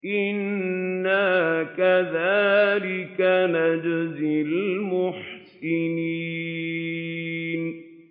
إِنَّا كَذَٰلِكَ نَجْزِي الْمُحْسِنِينَ